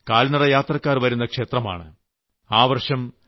ലക്ഷക്കണക്കിന് കാൽനടയാത്രക്കാർ വരുന്ന ക്ഷേത്രമാണ്